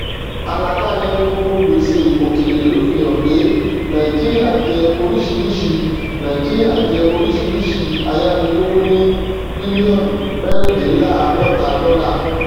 àlàkalẹ gbogbo gbèsè òkèrè ló fi hàn pé nàìjíríà jẹ orísirísi nàìjíríà jẹ orísirísi ayánilówó ní bílíọnù mẹrìndínláàdọta dọlà